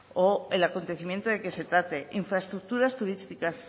o el acontecimiento de que se trate infraestructuras turísticas